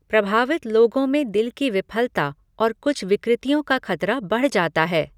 प्रभावित लोगों में दिल की विफलता और कुछ विकृतियों का खतरा बढ़ जाता है।